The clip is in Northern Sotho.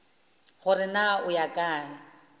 gore na o ya kae